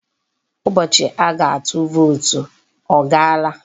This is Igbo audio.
Ụbọchị a ga-atụ vootu ọ gaala?